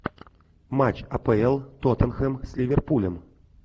матч апл тоттенхэм с ливерпулем